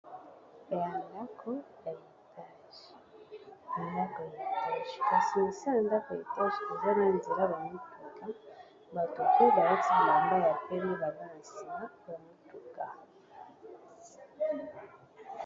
Ndako yaletage kasi sa ya ndako ye tage eza binge nzela bamituka bato koyi baleti bilamba ya pele bala na nsima bamituka